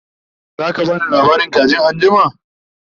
zaka bani labarin kajin anjima?